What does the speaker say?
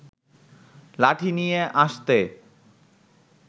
লাঠি নিয়ে আসতে